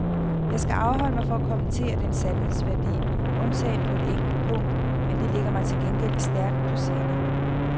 Jeg skal afholde mig fra at kommentere dens sandhedsværdi, undtagen på et enkelt punkt, men det ligger mig til gengæld stærkt på sinde.